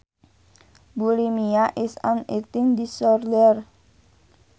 Bulimia is an eating disorder